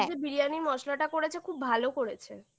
দিয়ে biryani মসলাটা করেছে খুব ভালো করেছে